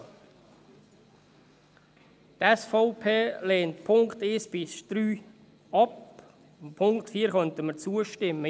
Die SVP lehnt die Punkte 1–3 ab, dem Punkt 4 könnten wir zustimmen.